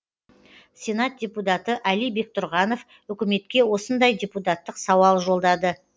сенат депутаты али бектұрғанов үкіметке осындай депутаттық сауал жолдады